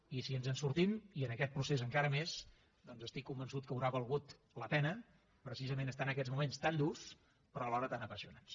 i si ens en sortim i en aquest procés encara més doncs estic convençut que haurà valgut la pena precisament estar en aquests moments tan durs però alhora tan apassionants